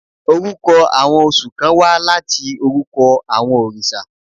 Orúkọ àwọn oṣù kán wá láti orúkọ àwọn orìṣà.